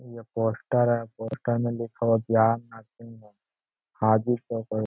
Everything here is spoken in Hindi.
यह पोस्टर है। पोस्टर में लिखा हुआ है ज्ञान हाजीपुर --